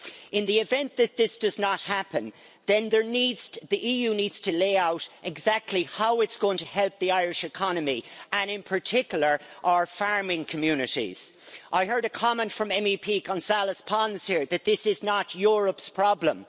In the event that this does not happen, then the EU needs to lay out exactly how it's going to help the Irish economy, and in particular our farming communities. I heard a comment from MEP González Pons that this is not Europe's problem.